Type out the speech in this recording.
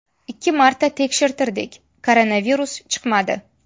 Ikki marta tekshirtirdik koronavirus chiqmadi.